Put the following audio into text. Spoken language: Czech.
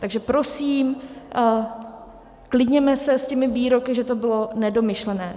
Takže prosím, klidněme se s těmi výroky, že to bylo nedomyšlené.